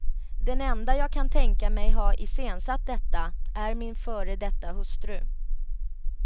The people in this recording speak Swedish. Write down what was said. Den enda jag kan tänka mig ha iscensatt detta är min före detta hustru.